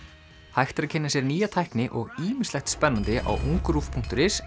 hægt er að kynna sér nýja tækni og ýmislegt spennandi á ungruv punktur is